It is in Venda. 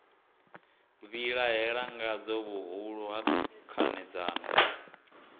vhilahela ngadzo vhuhulu ha khanedzano